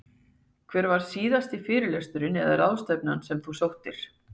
Hver var síðasti fyrirlesturinn eða ráðstefnan sem þú sóttir?